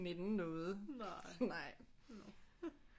Nænne noget nej